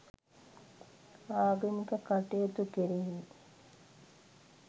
ආගමික කටයුතු කෙරෙහි